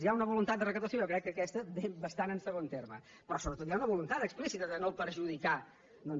hi ha una voluntat de recaptació jo crec que aquesta ve bastant en segon terme però sobretot hi ha una voluntat explícita de no perjudicar doncs